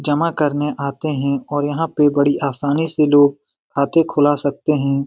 जमा करने आते है और यहाँ बड़ी आसानी से लोग खाते खुला सकते है।